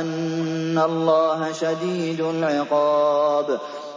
أَنَّ اللَّهَ شَدِيدُ الْعِقَابِ